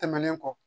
Tɛmɛnen kɔ